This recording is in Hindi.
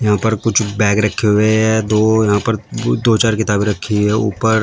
यहां पर कुछ बैग रखे हुए हैं दो यहां पर दो चार किताबें रखी है ऊपर--